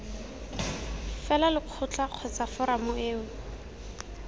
fela lekgotla kgotsa foramo eo